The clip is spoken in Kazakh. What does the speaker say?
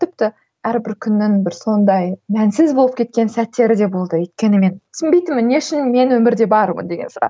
тіпті әрбір күннің бір сондай мәнсіз болып кеткен сәттері де болды өйткені мен түсінбейтінмін не үшін мен өмірде бармын деген сұрақ